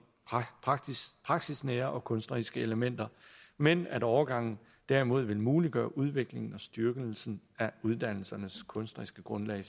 praksisnære og kunstneriske elementer men at overgangen derimod vil muliggøre udviklingen og styrkelsen af uddannelsernes kunstneriske grundlag